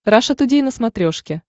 раша тудей на смотрешке